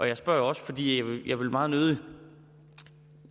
jeg spørger også fordi jeg meget nødig